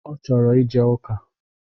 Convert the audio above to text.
Ọ chọrọ ije ụka